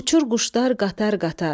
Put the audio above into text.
Uçur quşlar qatar-qatar.